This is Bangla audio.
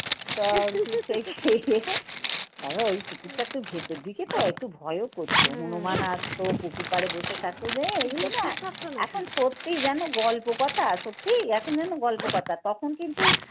তো ওই পুকুরটাতে ভেতর দিকে তো একটু ভয়ও করত হনুমান আসতো পুকুর পাড়ে বসে থাকতো এখন সত্যি যেন গল্প কথা সত্যি এখন যেন গল্প কথা। তখন কিন্তু